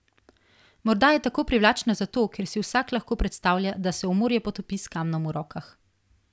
Morda je tako privlačna zato, ker si vsak lahko predstavlja, da se v morje potopi s kamnom v rokah.